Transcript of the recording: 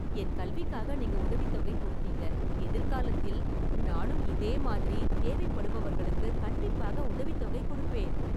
என் கல்விக்காக நீங்க உதவித்தொகை கொடுத்தீங்க... எதிர்காலத்தில் நானும் இதே மாதிரி தேவைப்படுபவர்களுக்கு கண்டிப்பாக உதவித்தொகை கொடுப்பேன்.